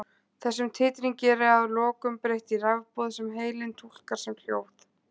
þessum titringi er að lokum breytt í rafboð sem heilinn túlkar sem hljóð